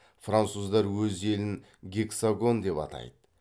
француздар өз елін гексагон деп атайды